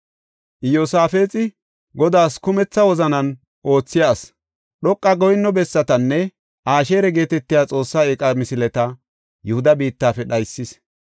Iyosaafexi Godaas kumetha wozanan oothiya asi. Dhoqa goyinno bessatanne Asheera geetetiya xoosse eeqa misileta Yihuda biittafe dhaysis.